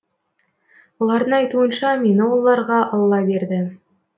олардың айтуынша мені оларға алла берді